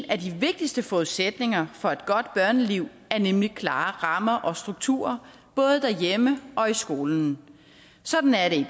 af de vigtigste forudsætninger for et godt børneliv er nemlig klare rammer og strukturer både derhjemme og i skolen sådan er det